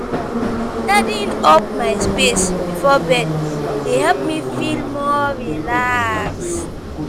Tidying up my space before bed dey help me feel more relaxed.